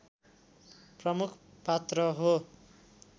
प्रमुख पात्र हो